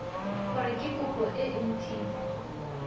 gore ke kopo e nt